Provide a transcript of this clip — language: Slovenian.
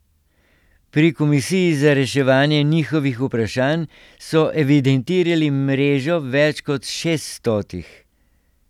Pri komisiji za reševanje njihovih vprašanj so evidentirali mrežo več kot šeststotih.